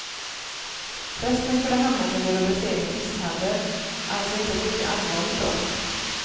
Resten skulle hamnat under rubriceringen misshandel, alltså ett inte lika allvarligt brott.